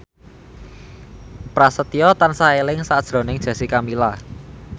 Prasetyo tansah eling sakjroning Jessica Milla